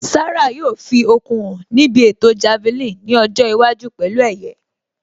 Sarah yóò fi okun hàn níbi ètò Javelin nkiọjọ́ iwájú pẹ̀lú ẹ̀yẹ